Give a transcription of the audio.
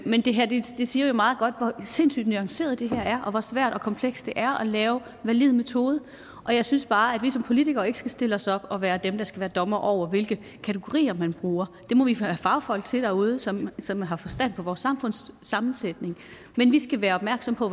men det her siger jo meget godt hvor sindssygt nuanceret det er og hvor svært og komplekst det er at lave en valid metode og jeg synes bare at vi som politikere ikke skal stille os op og være dem der skal være dommere over hvilke kategorier man bruger det må vi have fagfolk til derude som som har forstand på vores samfunds sammensætning men vi skal være opmærksomme på